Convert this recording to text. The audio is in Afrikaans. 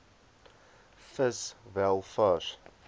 vis wel vars